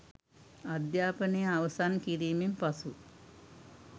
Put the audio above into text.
අධ්‍යාපනය අවසන් කිරීමෙන් පසු